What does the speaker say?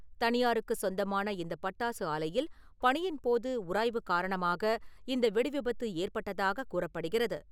தனியாருக்குச் சொந்தமான இந்த பட்டாசு ஆலையில் பணியின்போது உராய்வு காரணமாக இந்த வெடி விபத்து ஏற்பட்டதாக கூறப்படுகிறது.